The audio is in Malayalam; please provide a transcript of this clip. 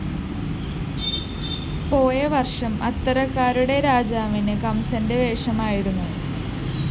പോയവര്‍ഷം അത്തരക്കാരുടെ രാജാവിന് കംസന്റെ വേഷമായിരുന്നു